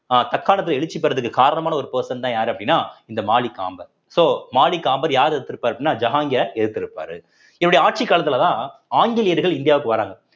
அஹ் தற்காலத்துல எழுச்சி பெறுவதற்கு காரணமான ஒரு person தான் யாரு அப்படின்னா இந்த மாலிக் காம்பர் so மாலிக் காம்பர் யார் எதிர்த்து இருப்பார் அப்படின்னா ஜஹான்கீய எதிர்த்திருப்பாரு இவருடைய ஆட்சிக் காலத்திலதான் ஆங்கிலேயர்கள் இந்தியாவுக்கு வர்றாங்க